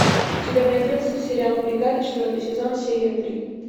у тебя найдется сериал бригада четвертый сезон серия три